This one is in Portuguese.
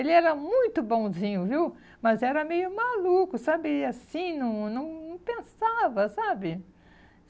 Ele era muito bonzinho, viu? Mas era meio maluco, sabe? Assim, não não não pensava, sabe?